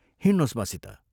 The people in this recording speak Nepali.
हिंड्नोस् मसित।